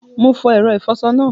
Mo fo èro ìfoso náà